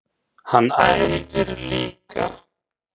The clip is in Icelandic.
Hann æfir líka.